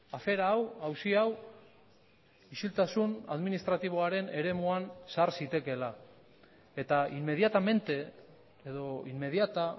afera hau auzi hau isiltasun administratiboaren eremuan sar zitekeela eta inmediatamente edo inmediata